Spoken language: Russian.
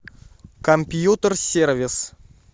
компьютер сервис